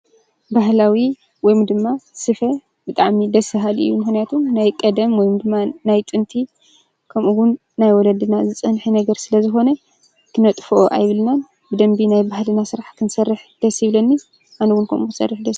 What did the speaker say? ባህላዊ ወይ ድማ ስፈ ብጣዕሚ ደስ በሃሊ እዩ ምኽንያቱ ናይ ቀደም ወይ ድማ ናይ ጥንቲ ከምኡ እውን ናይ ወለድና ዝፀንሐ ነገር ስለዝኾነ ክነጥፍኦ የብልናን፡፡ ብደንቢ ናይ ባህልና ስራሕ ክንሰርሕ ደስ ይብለኒ፡፡